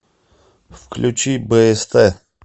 включи бст